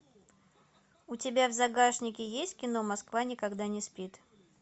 у тебя в загашнике есть кино москва никогда не спит